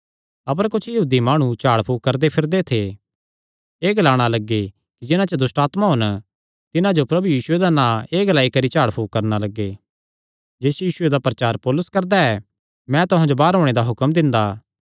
अपर कुच्छ यहूदी माणु झाड़ फूक करदे फिरदे थे एह़ ग्लाणा लग्गे कि जिन्हां च दुष्टआत्मां होन तिन्हां जो प्रभु यीशुये दा नां एह़ ग्लाई करी झाड़ फूक करणा लग्गे जिस यीशुये दा प्रचार पौलुस करदा ऐ मैं तुहां जो बाहर ओणे दा हुक्म दिंदा